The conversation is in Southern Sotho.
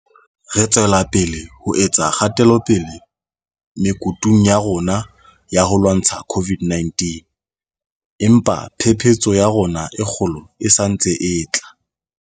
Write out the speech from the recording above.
Re tswela pele ho etsa kgatelopele mekutung ya rona ya ho lwantsha COVID 19, empa phephetso ya rona e kgolo e sa ntse e tla.